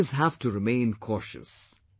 We will always have to remain cautious